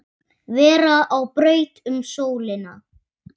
vera á braut um sólina